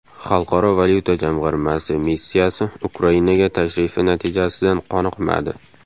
Xalqaro valyuta jamg‘armasi missiyasi Ukrainaga tashrifi natijasidan qoniqmadi.